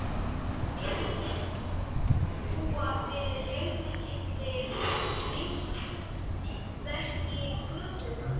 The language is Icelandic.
Mér virtist hún búa yfir heilmikilli lífsspeki götunnar